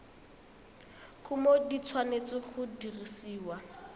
kumo di tshwanetse go dirisiwa